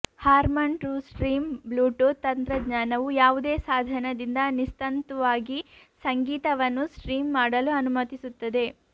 Harman TrueStream Bluetooth ತಂತ್ರಜ್ಞಾನವು ಯಾವುದೇ ಸಾಧನದಿಂದ ನಿಸ್ತಂತುವಾಗಿ ಸಂಗೀತವನ್ನು ಸ್ಟ್ರೀಮ್ ಮಾಡಲು ಅನುಮತಿಸುತ್ತದೆ